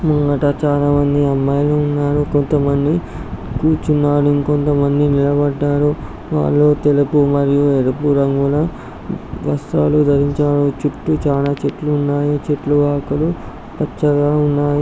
ముంగట చాలా మంది అమ్మాయిలు ఉన్నారు. కొంతమంది కూర్చున్నారు.ఇంకొంతమంది నిలబడ్డారు. వాళ్ళు తెలుపు మరియు ఎరుపు రంగులో వస్రాలు ధరించారు.చుట్టూ చాలా చెట్లు ఉన్నాయి.ఆ చెట్ల ఆకులు పచ్చగా ఉన్నాయి.